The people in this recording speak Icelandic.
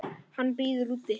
Hann bíður úti.